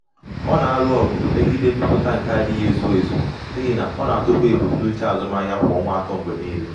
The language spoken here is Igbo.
ọ na-alụ ọgụ megide mmetụta nke adịghị ezu ezu n’ihi na ọ na-atụfu ebumnuche azụmahịa kwa ọnwa atọ mgbe niile.